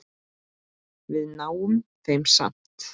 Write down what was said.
Við náum þeim samt!